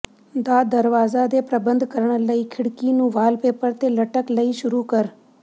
ਦਾ ਦਰਵਾਜ਼ਾ ਦੇ ਪ੍ਰਬੰਧ ਕਰਨ ਲਈ ਖਿੜਕੀ ਨੂੰ ਵਾਲਪੇਪਰ ਤੇ ਲਟਕ ਲਈ ਸ਼ੁਰੂ ਕਰ